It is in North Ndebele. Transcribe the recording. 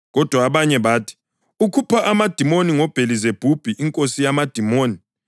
Kodwa abanye bathi, “Ukhupha amadimoni ngoBhelizebhubhi inkosi yamadimoni.”